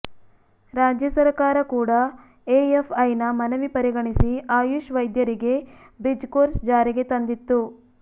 ರಾಜ್ಯ ಸರಕಾರ ಕೂಡ ಎಎಫ್ಐನ ಮನವಿ ಪರಿಗಣಿಸಿ ಆಯುಷ್ ವೈದ್ಯರಿಗೆ ಬ್ರಿಜ್ ಕೋರ್ಸ್ ಜಾರಿಗೆ ತಂದಿತ್ತು